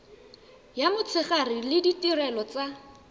ya motshegare le ditirelo tsa